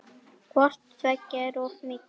Hvort tveggja er of mikið.